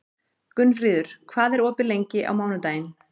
Gunnfríður, hvað er opið lengi á mánudaginn?